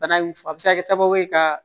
Bana in a bɛ se ka kɛ sababu ye ka